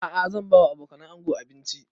A'a zan ba wa abokanan ango abinci